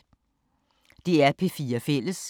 DR P4 Fælles